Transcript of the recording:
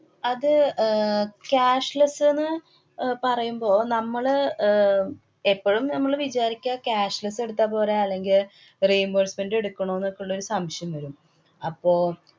അത് അഹ് cashless ന്ന് അഹ് പറയുമ്പോ നമ്മള് അഹ് എപ്പഴും നമ്മള് വിചാരിക്ക cashless എടുത്താപോരെ. അല്ലെങ്കി reimbursement എടുക്കണോ ന്നൊക്കെയുള്ളൊരു സംശയം ഇണ്ടല്ലൊ. അപ്പൊ